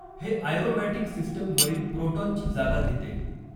हे aromatic system वरील प्रोटॉनची जागा घेते.